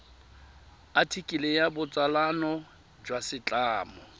athikele ya botsalano jwa setlamo